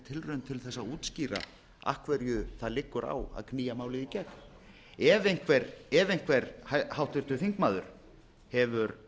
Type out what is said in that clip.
til að útskýra af hverju það liggur á að knýja málið í gegn ef einhver háttvirtur þingmaður hefur